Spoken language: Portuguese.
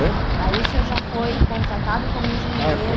Hein Aí o senhor já foi contratado como engenheiro.